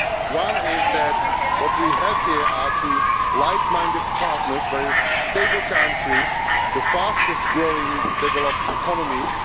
One is that what we have here are two like minded partners, very stable countries and the fastest growing developed economies.